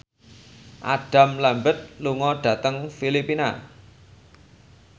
Adam Lambert lunga dhateng Filipina